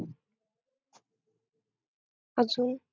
अजून?